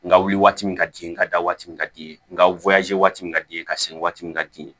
N ka wuli waati min ka di n ye ka da waati min ka di ye nka waati min ka di i ye ka sigi waati min ka di ye